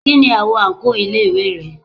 Kí ni àwo àǹkóò ilé ìwé rẹ?